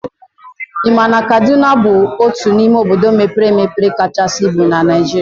I ma na Kaduna bụ otu n'ime obodo mepere emepe kachasị ibu na Naijiria?